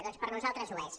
doncs per nosaltres ho és